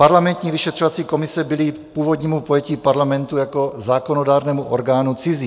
Parlamentní vyšetřovací komise byly původnímu pojetí parlamentu jako zákonodárného orgánu cizí.